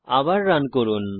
আবার রান করুন